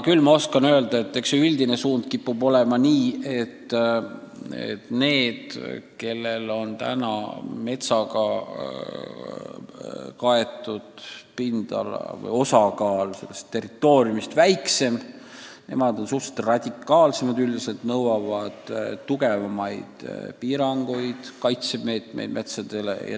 Küll oskan öelda, et üldine suund kipub olema selline, et need riigid, kellel on praegu metsaga kaetud pindala osakaal kogu territooriumil väiksem, on suhteliselt radikaalsed, nõuavad rangemaid piiranguid metsade kaitsel.